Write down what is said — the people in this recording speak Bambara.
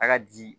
A ka di